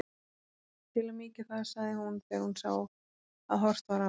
Til að mýkja það, sagði hún þegar hún sá að horft var á hana.